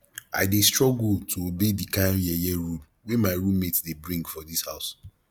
i dey struggle to obey di kind yeye rule wey my roommate dey bring for dis house